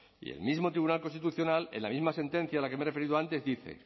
y el mismo tribunal constitucional en la misma sentencia a la que me he referido antes dice